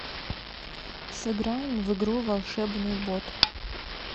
сыграем в игру волшебный бот